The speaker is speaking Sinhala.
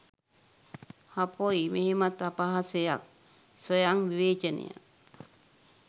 හපොයි මෙහෙමත් අපහසයක් ස්වයං විවේචනය.